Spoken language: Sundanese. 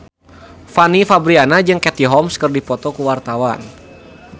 Fanny Fabriana jeung Katie Holmes keur dipoto ku wartawan